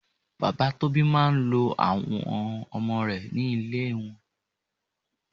Bàbá Tóbi máa ń lọ wo ọmọ rẹ̀ ní ilé àwọn tí kò níyà.